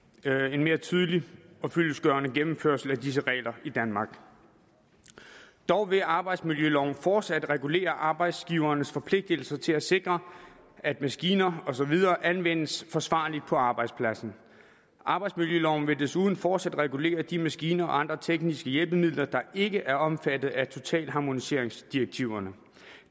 en mere tydelig og fyldestgørende gennemførelse af disse regler i danmark dog vil arbejdsmiljøloven fortsat regulere arbejdsgivernes forpligtelser til at sikre at maskiner og så videre anvendes forsvarligt på arbejdspladsen arbejdsmiljøloven vil desuden fortsat regulere de maskiner og andre tekniske hjælpemidler der ikke er omfattet af totalharmoniseringsdirektiverne